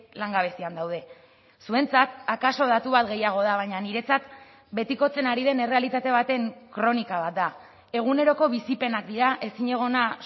langabezian daude zuentzat akaso datu bat gehiago da baina niretzat betikotzen ari den errealitate baten kronika bat da eguneroko bizipenak dira ezinegona